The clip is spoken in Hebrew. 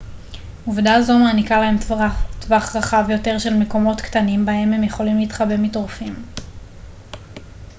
עובדה זו מעניקה להם טווח רחב יותר של מקומות קטנים בהם הם יכולים להתחבא מטורפים